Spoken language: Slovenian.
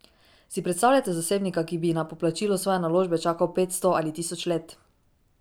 Si predstavljate zasebnika, ki bi na poplačilo svoje naložbe čakal petsto ali tisoč let?